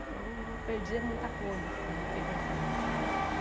Então, não perdia muita coisa, assim, eu fiquei pensando.